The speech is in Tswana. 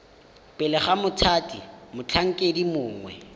pele ga mothati motlhankedi mongwe